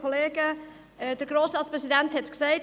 Der Grossratspräsident hat es gesagt: